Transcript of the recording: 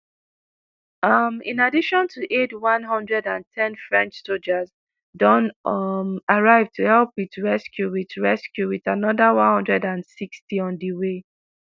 um in addition to aid 110 french sojas don um arrive to help wit rescue wit rescue wit anoda 160 on di way.